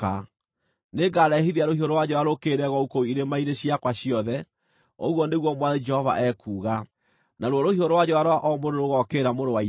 Nĩngarehithia rũhiũ rwa njora rũũkĩrĩre Gogu kũu irĩma-inĩ ciakwa ciothe, ũguo nĩguo Mwathani Jehova ekuuga. Naruo rũhiũ rwa njora rwa o mũndũ nĩrũgookĩrĩra mũrũ wa ithe.